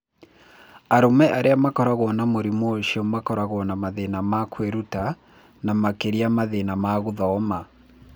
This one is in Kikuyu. Arũme arĩa makoragwo na mũrimũ ũcio makoragwo na mathĩna ma kwĩruta, na makĩria mathĩna ma gũthoma.